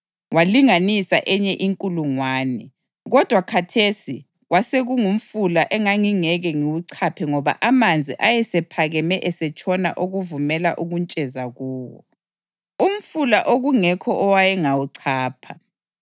Walinganisa enye inkulungwane, kodwa khathesi kwasekungumfula engangingeke ngiwuchaphe ngoba amanzi ayesephakeme esetshona okuvumela ukuntsheza kuwo, umfula okungekho owayengawuchapha.